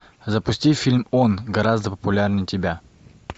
запусти фильм он гораздо популярнее тебя